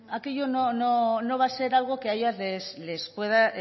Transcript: aquello no va a ser algo que a ellas les pueda